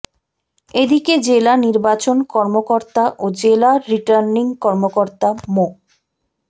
এদিকে জেলা নির্বাচন কর্মকর্তা ও জেলা রিটার্নিং কর্মকর্তা মো